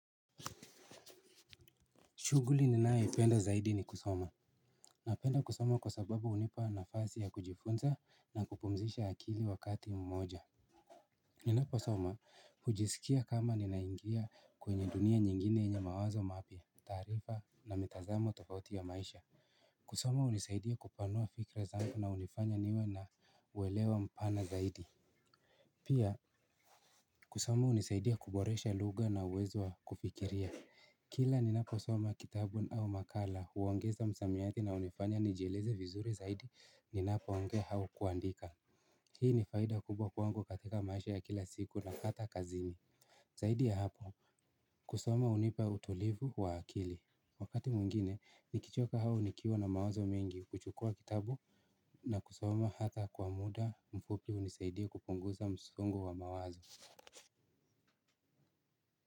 Shughuli ninae penda zaidi ni kusoma napenda kusoma kwa sababu hunipa nafasi ya kujifunza na kupumzisha akili wakati mmoja ninapo soma hujisikia kama ninaingia kwenye dunia nyingine yenye mawazo mapya, taarifa na mitazamo tofauti ya maisha kusoma hunisaidia kupanua fikra zangu na hunifanya niwe na uwelewa mpana zaidi pia kusoma hunisaidia kuboresha lugha na uwezo aakufikiria kila ni napo soma kitabu au makala huongeza msamiati na hunifanya nijieleze vizuri zaidi ni napo ongea au kuandika hii ni faida kubwa kwangu katika maisha ya kila siku na hata kazini zaidi ya hapo kusoma hunipa utulivu wa akili wakati mwingine nikichoka au nikiwa na mawazo mengi huchukuwa kitabu na kusoma hata kwa muda mfupi hunisaidia kupunguza msongo wa mawazo.